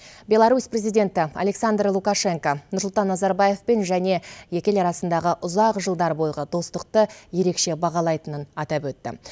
беларусь президенті александр лукашенко нұрсұлтан назарбаевпен және екі ел арасындағы ұзақ жылдар бойғы достықты ерекше бағалайтынын атап өтті